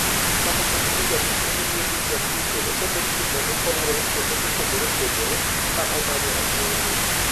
Kata kamano, jalup ne moluor Willium Ruto osebed kinene koluorore kwonde mopogore ka omanyo ombulu.